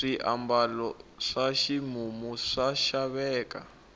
swiambalo swa ximumu swa xaveka